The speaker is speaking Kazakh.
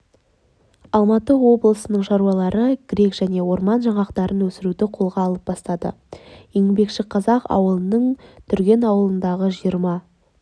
алматы облысының шаруалары грек және орман жаңғағын өсіруді қолға ала бастады еңбекшіқазақ ауданының түрген ауылындағы жиырма